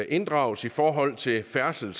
inddrages i forhold til færdsel